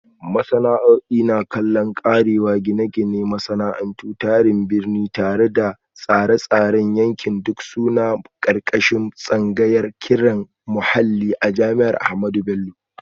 Sana'a'i na kallo, karewa, Gine-gine, Masana'antu, Tsarin Birni da Tsare-tsaren yanki duk suna ƙarƙashin tsangayar ƙirar muhalli a jami'ar Ahmadu Bello.